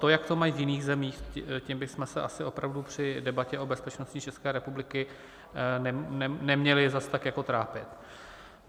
To, jak to mají v jiných zemích, tím bychom se asi opravdu při debatě o bezpečnosti České republiky neměli zase tak jako trápit.